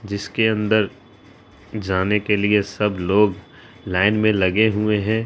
जिसके अंदर जाने के लिए सब लोग लाइन मे लगे हुए है।